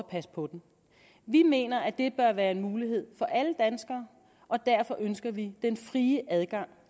passe på den vi mener at det bør være en mulighed for alle danskere og derfor ønsker vi den frie adgang